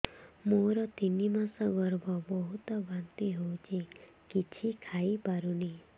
ମୋର ତିନି ମାସ ଗର୍ଭ ବହୁତ ବାନ୍ତି ହେଉଛି କିଛି ଖାଇ ପାରୁନି